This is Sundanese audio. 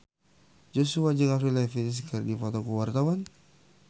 Joshua jeung Avril Lavigne keur dipoto ku wartawan